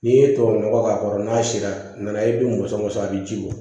N'i ye tubabu nɔgɔ k'a kɔrɔ n'a sera a nana e bi mɔsɔn a be ji bɔ